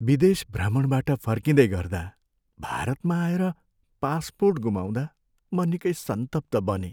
विदेश भ्रमणबाट फर्किँदै गर्दा भारतमा आएर पासपोर्ट गुमाउँदा म निकै सन्तप्त बनेँ।